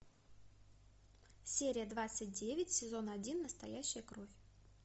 серия двадцать девять сезон один настоящая кровь